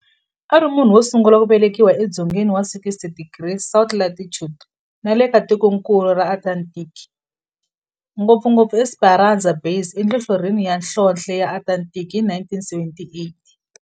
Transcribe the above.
Ari munhu wosungula ku velekiwa e dzongeni wa 60 degrees south latitude nale ka tikonkulu ra Antarctic, ngopfungopfu e Esperanza Base enhlohlorhini ya nhlonhle ya Antarctic hi 1978.